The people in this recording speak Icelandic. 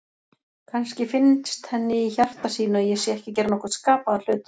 Kannski finnst henni í hjarta sínu að ég sé ekki að gera nokkurn skapaðan hlut.